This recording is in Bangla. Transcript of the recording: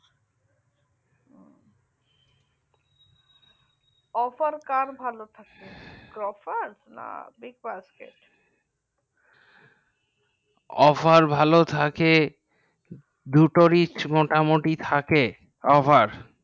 offer কার ভালো থাকে grofar না big boss এর offer ভালো থেকে ভালো থেকে দুটোরই মোটামুটি থেকে offer